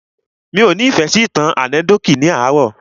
Mí ọ́ ni ìfẹ́ sí ìtàn ànẹ́kídòtì ní àárò.